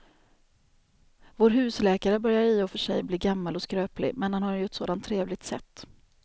Vår husläkare börjar i och för sig bli gammal och skröplig, men han har ju ett sådant trevligt sätt!